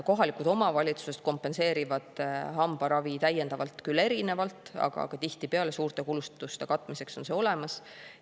Kohalikud omavalitsused kompenseerivad hambaravi täiendavalt küll erinevalt, aga tihtipeale suurte kulutuste katmiseks on see olemas.